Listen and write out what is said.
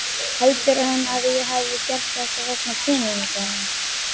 Heldur hann að ég hafi gert þetta vegna peninganna?